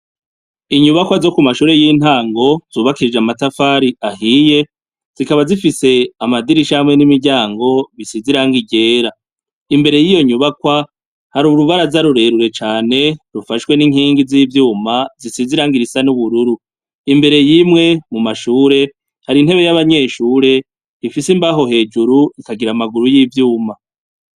Inyubakwa zo kumashure yintango zubakishije amatafari ahiye, zifise amadirisha nimiryango zisize irangi ryera .Imbere yiyonyubakwa, hari urubaraza rurerure cane rufashwe inkingi zivyuma zisize irangi risa nubururu. imbere yimwe mumashure. hari intebe yabanyeshure. ifise imbaho hejuru ikagira amaguru yivyuma.